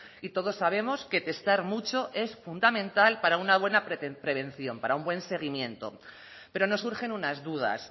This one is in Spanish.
y todos sabemos que testar mucho es fundamental para una buena prevención para un buen seguimiento pero no surgen unas dudas